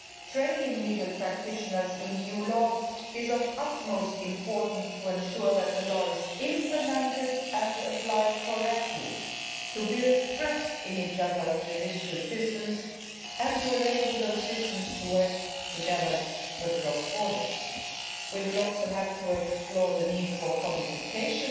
Training legal practitioners in EU law is of utmost importance to ensure that the law is implemented and applied correctly, to build trust in each otherʼs judicial systems and to enable those systems to work together across borders. We will also have to explore the need for codification